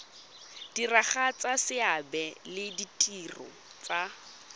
diragatsa seabe le ditiro tsa